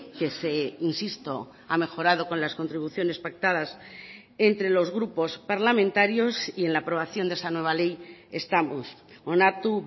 que se insisto ha mejorado con las contribuciones pactadas entre los grupos parlamentarios y en la aprobación de esa nueva ley estamos onartu